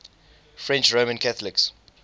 french roman catholics